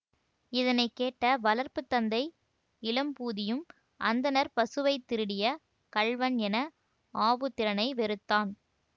இதனை கேட்ட வளர்ப்பு தந்தை இளம்பூதியும் அந்தணர் பசுவைத் திருடிய கள்வன் என ஆபுத்திரனை வெறுத்தான்